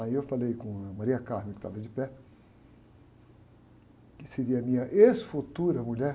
Aí eu falei com a, que estava de pé, que seria a minha ex-futura mulher.